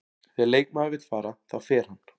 Þegar leikmaður vill fara, þá fer hann.